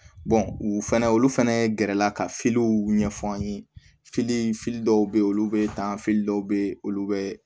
u fɛnɛ olu fɛnɛ gɛrɛla ka ɲɛfan ye dɔw be ye olu be dan dɔw be ye olu be